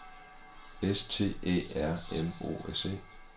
S T Æ R M O S E